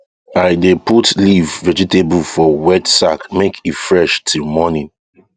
i dey put leaf vegetable for wet sack make e fresh till morning